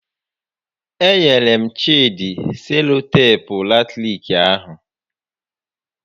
E nyere m Chịdị seloteepu latiriki ahụ